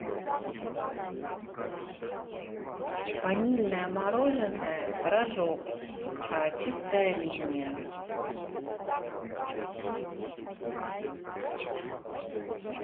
ванильное мороженое рожок чистая линия